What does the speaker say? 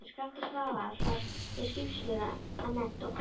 Skafti Svavar er skipstjóri að mennt og kvæntur